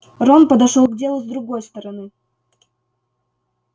рон подошёл к делу с другой стороны